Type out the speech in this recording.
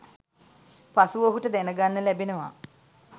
පසුව ඔහුට දැනගන්න ලැබෙනවා.